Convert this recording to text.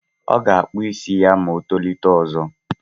Ọ ga-akpụ isi ya ma o tolite ọzọ.